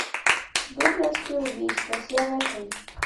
дублинские убийства серия три